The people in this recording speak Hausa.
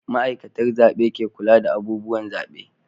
Ma'aikatar zabe ke kula da abubuwan zabe